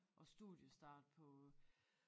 Og studiestart på